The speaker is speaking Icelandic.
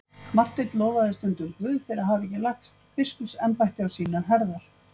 Marteinn lofaði stundum Guð fyrir að hafa ekki lagt biskupsembætti á sínar herðar.